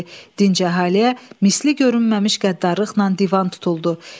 Dinc əhaliyə misli görünməmiş qəddarlıqla divan tutuldu.